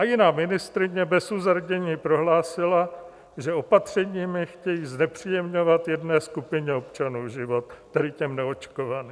A jiná ministryně bez uzardění prohlásila, že opatřeními chtějí znepříjemňovat jedné skupině občanů život, tedy těm neočkovaným.